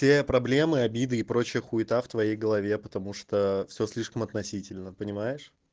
те проблемы обиды и прочая хуета в твоей голове потому что все слишком относительно понимаешь